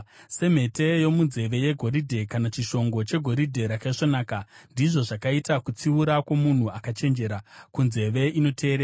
Semhete yomunzeve yegoridhe kana chishongo chegoridhe rakaisvonaka, ndizvo zvakaita kutsiura kwomunhu akachenjera, kunzeve inoteerera.